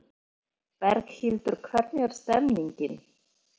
Berghildur hvernig er stemningin?